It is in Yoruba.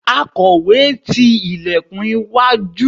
akowe ti ilekun iwájú